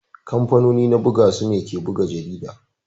kamfanoni na ɓuga su ne ke ɓuga jariɗa.